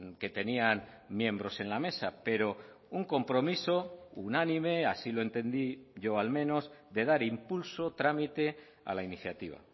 que tenían miembros en la mesa pero un compromiso unánime así lo entendí yo al menos de dar impulso trámite a la iniciativa